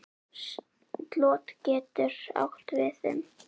Slot getur átt við um